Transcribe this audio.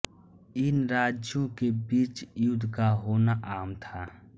इन राज्यों के बीच युद्ध का होना आम था